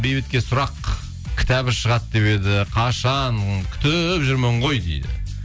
бейбітке сұрақ кітабы шығады деп еді қашан күтіп жүрмін ғой дейді